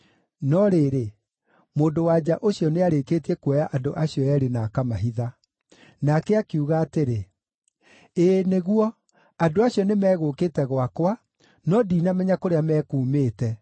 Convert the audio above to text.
No rĩrĩ, mũndũ-wa-nja ũcio nĩarĩkĩtie kuoya andũ acio eerĩ na akamahitha. Nake akiuga atĩrĩ, “Ĩĩ nĩguo, andũ acio nĩmegũkĩte gwakwa, no ndinamenya kũrĩa mekuumĩte.